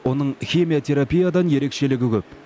оның химиотерапиядан ерекшелігі көп